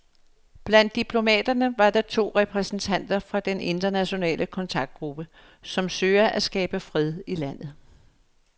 Blandt diplomaterne var to repræsentanter fra den internationale kontaktgruppe, som søger at skabe fred i landet.